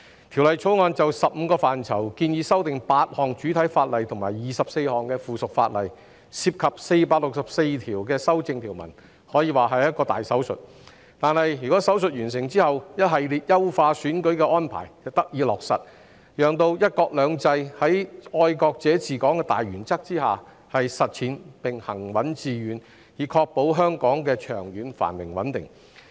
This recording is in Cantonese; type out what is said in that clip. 《條例草案》就15個範疇建議修訂8項主體法例及24項附屬法例，涉及464條修正條文，可說是一個大手術，但在手術完成後，一系列優化選舉的安排便得以落實，讓"一國兩制"在"愛國者治港"的大原則下實踐並行穩致遠，以確保香港的長遠繁榮穩定。